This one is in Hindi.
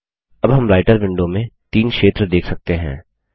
अब हम राइटर विंडो में तीन क्षेत्र देख सकते हैं